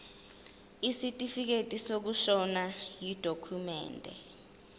isitifikedi sokushona yidokhumende